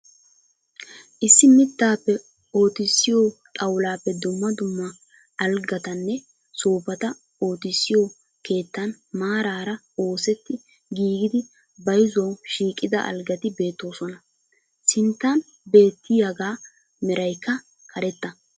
Issi mittaappe ottisiyo xawulaappe dumma dumma algattanne soofata oottisiyo keettan maarara oosetti giigidi bayzuwu shiiqida algatti beettosona. Sinttan beettiyagaa meraykka karetta.